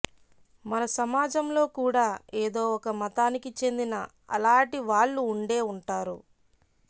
మన సమాజంలో కూడా ఏదో ఒక మతానికి చెందిన అలాటి వాళ్లు వుండే వుంటారు